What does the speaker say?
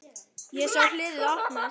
Ég sá hliðið opnast.